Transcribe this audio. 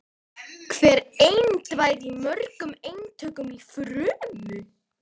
Hver eind væri í mörgum eintökum í frumu.